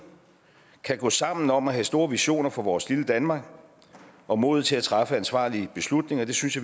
kan gå sammen om at have store visioner for vores lille danmark og modet til at træffe ansvarlige beslutninger det synes